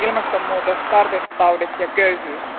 Ilmastonmuutos, tartuntataudit ja köyhyys.